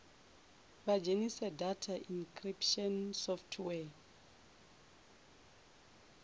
vha dzhenise data encryption software